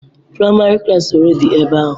Praịmarị klassi ole dị ebe ahụ